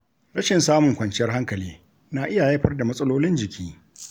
Rashin samun kwanciyar hankali na iya haifar da matsalolin jiki.